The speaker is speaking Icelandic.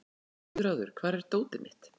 Guðráður, hvar er dótið mitt?